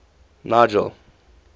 nigel